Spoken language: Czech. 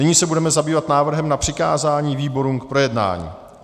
Nyní se budeme zabývat návrhem na přikázání výborům k projednání.